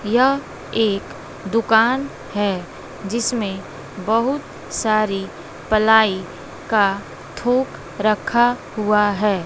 यह एक दुकान है जिसमें बहुत सारी पलाई का थोक रखा हुआ है।